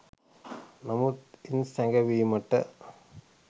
නමුත් ඉන් සැඟවීමට